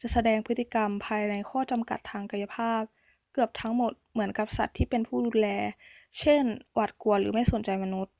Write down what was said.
จะแสดงพฤติกรรม ภายในข้อจำกัดทางกายภาพ เกือบทั้งหมดเหมือนกับสัตว์ที่เป็นผู้ดูแล เช่น หวาดกลัว หรือไม่สนใจมนุษย์